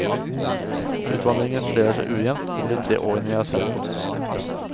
Utvandringen fordeler seg ujevnt over de tre årene jeg har sett på.